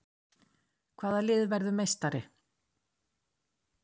Hvaða lið verður meistari?